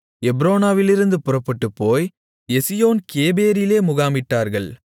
எப்ரோனாவிலிருந்து புறப்பட்டுப்போய் எசியோன் கேபேரிலே முகாமிட்டார்கள்